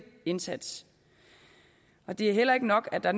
indsats og det er heller ikke nok at der